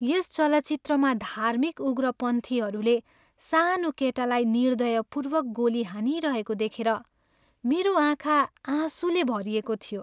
यस चलचित्रमा धार्मिक उग्रपन्थीहरूले सानो केटालाई निर्दयपूर्वक गोली हानिरहेको देखेर मेरो आँखा आँसुले भरिएको थियो।